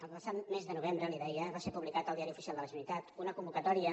el passat mes de novembre li deia va ser publicada al diari oficial de la generalitat una convocatòria